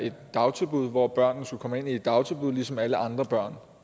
et dagtilbud hvor børnene skulle komme ind i et dagtilbud ligesom alle andre børn